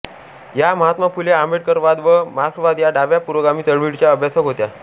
या महात्मा फुले आंबेडकरवाद व मार्क्सवाद या डाव्या पुरोगामी चळवळीच्या अभ्यासक होत्या